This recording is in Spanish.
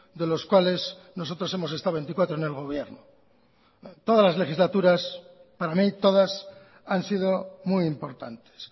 de los cuales nosotros hemos estado veinticuatro en el gobierno todas las legislaturas para mi todas han sido muy importantes